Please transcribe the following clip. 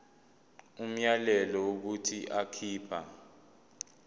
umyalelo wokuthi akhipha